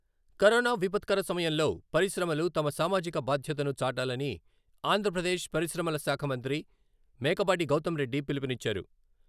Corona విపత్కర సమయంలో పరిశ్రమలు తమ సామాజిక బాధ్యతను చాటాలని ఆంధ్రప్రదేశ్ పరిశ్రమలశాఖ మంత్రి మేకపాటి గౌతమ్ రెడ్డి పిలుపునిచ్చారు.